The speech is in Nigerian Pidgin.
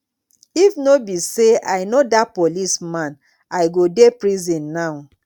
if no be say i no dat policeman i go dey prison now